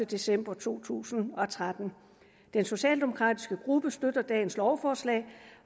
december to tusind og tretten den socialdemokratiske gruppe støtter dagens lovforslag